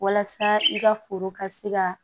Walasa i ka foro ka se ka